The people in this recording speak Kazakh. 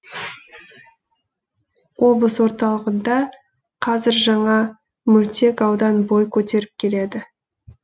облыс орталығында қазір жаңа мөлтек аудан бой көтеріп келеді